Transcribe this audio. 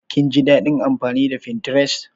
Kin ji daɗin amfani da Pinterest?